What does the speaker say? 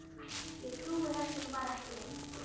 Ég trúi þessu nú bara ekki.